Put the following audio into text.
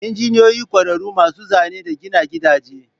Injiniyoyi ƙwararru masu Zane da gina gidaje.